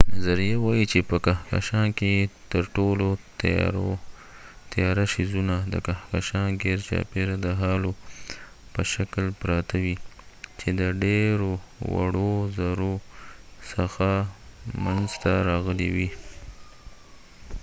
نظریه وای چې په کهکشان کې تر ټولو تیاره څیزونه د کهکشان ګیرچاپیره د هالو په شکل پراته وي چې د ډیرو وړو زرو څخه منځ ته راغلي وي